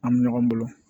An bɛ ɲɔgɔn bolo